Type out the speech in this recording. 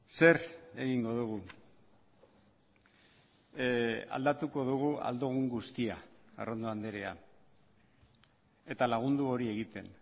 zer egingo dugu aldatuko dugu ahal dugun guztia arrondo andrea eta lagundu hori egiten